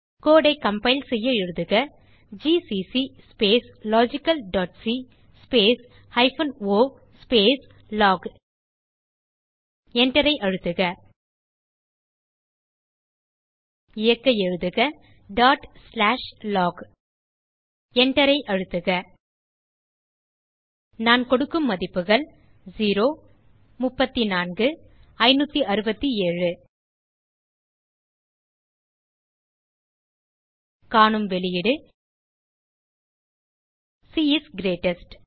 கோடு ஐ கம்பைல் செய்ய எழுதுக ஜிசிசி logicalசி o லாக் enter ஐ அழுத்துக இயக்க எழுதுக log Enter ஐ அழுத்துக நான் கொடுக்கும் மதிப்புகள் காணும் வெளியீடு சி இஸ் கிரீட்டெஸ்ட்